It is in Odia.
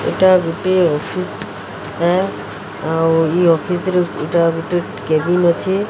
ଏଟା ଗୁଟିଏ ଅଫିସ ଟା ଆଉ ଇଏ ଅଫିସ ରେ ଏଇଟା ଗୁଟେ କେବିନ ଅଛି।